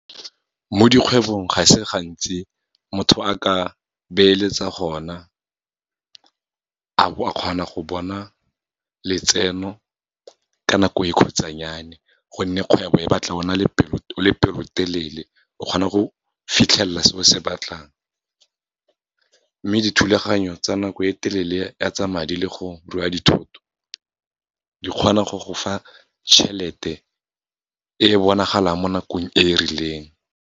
Mo dikgwebong, ga se gantsi motho a ka beeletsa gona, a bo a kgona go bona letseno ka nako e khutsanyane, gonne kgwebo e batla o le pelotelele, o kgona go fitlhelela se o se batlang. Mme dithulaganyo tsa nako e telele ya tsa madi le go rua dithoto, di kgona go go fa tjhelete e bonagalang, mo nakong e rileng.